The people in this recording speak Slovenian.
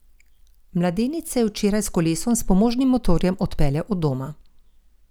Mladenič se je včeraj s kolesom s pomožnim motorjem odpeljal od doma.